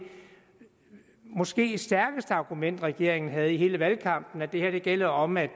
måske stærkeste argument regeringen havde i hele valgkampen var at det her gælder om at